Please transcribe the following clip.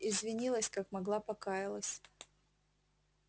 извинилась как могла покаялась